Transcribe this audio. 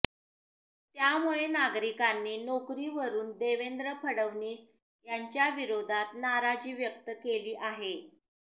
त्यामुळे नागरिकांनी नोकरीवरुन देवेंद्र फडणवीस यांच्या विरोधात नाराजी व्यक्त केली आहे